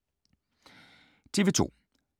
TV 2